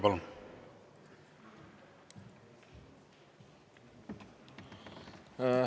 Palun!